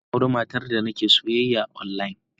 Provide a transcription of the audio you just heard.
Zan auri matar da nake soyayya online.